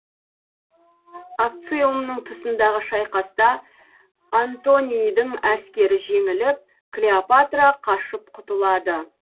акциумның тұсындағы шайқаста антонийдің әскері жеңіліп клеопатра қашып құтылады